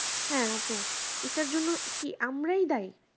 হ্যাঁ আপু এটার জন্য কি আমরাই দায়ী